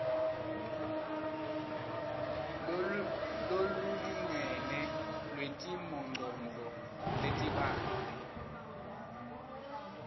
lolulingene lwetimongcondvo letibanti